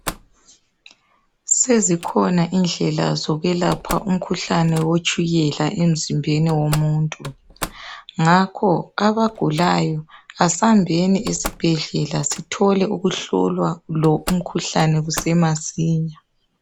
Sezikhona indlela zokwelapha umkhuhlane wetshukela emzimbeni womuntu, ngakho abagulayo asambheni esibhedlela Sithole ukuhlolwa lo umkhuhlane kusese masinya